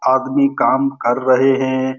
आदमी काम कर रहे हैं।